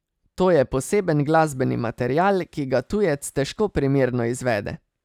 To je poseben glasbeni material, ki ga tujec težko primerno izvede.